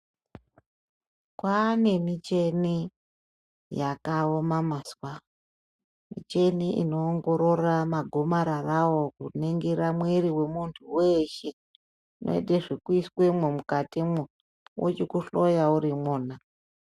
Kwanemicheni yakawoma mazuvano. Micheni inowongorora magomararawo wokuningira mwiri wemunhu weshe. Inoyite zvokuyise imwe mukati mwo, vochikuhloya urimona.